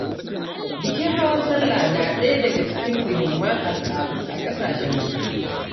Bikin hawan sallah na daya daga cikin muhimman al’adu a ƙasashen musulmi.